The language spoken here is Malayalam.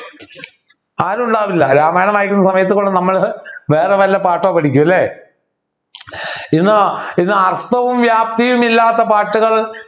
ആരുമുണ്ടാവില്ല രാമായണം വായിക്കുന്ന സമയത്ത് നമ്മൾ വേറെ വല്ല പാട്ടോ പഠിക്കുമല്ലേ ഇന്ന് ഇന്ന് അർത്ഥവും വ്യാപ്തിയും ഇല്ലാത്ത പാട്ടുകൾ